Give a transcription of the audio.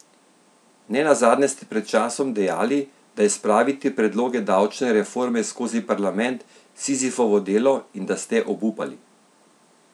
Nenazadnje ste pred časom dejali, da je spraviti predloge davčne reforme skozi parlament Sizifovo delo in da ste obupali.